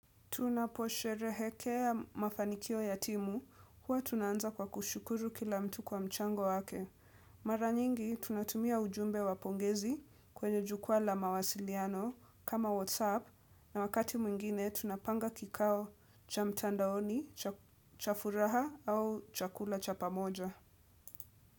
Tunaposherehekea ya mafanikio yatimu huwa tunaanza kwa kushukuru kila mtu kwa mchango wake. Maranyingi tunatumia ujumbe wa pongezi kwenye jukwa la mawasiliano kama Whatsapp na wakati mwingine tunapanga kikao cha mtandaoni, cha furaha au cha kula cha pamoja.